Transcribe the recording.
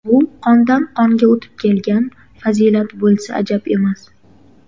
Bu qondan qonga o‘tib kelgan fazilat bo‘lsa ajab emas.